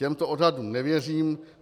Těmto odhadům nevěřím.